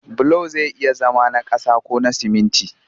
Bulo zai iya zama na ƙasa ko sumunti